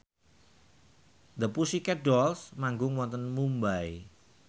The Pussycat Dolls manggung wonten Mumbai